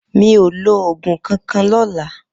Mi ó ló ógún kànkàn lòlã